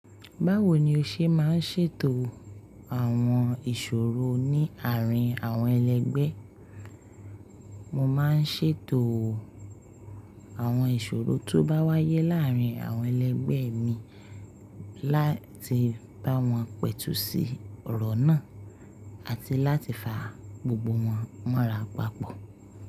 Báwo ni o ṣe máa ń ṣètò àwọn ìṣòro ní àárín àwọn ẹlẹgbẹ́? Mo máa ń ṣètò àwọn ìṣòro tó bá wáyé láàárín àwọn ẹlẹgbẹ́ mi láti bá wọn pẹ̀tù sí ọ̀rọ̀ náà àti láti fa gbogbo wọn mọ́ra papọ̀.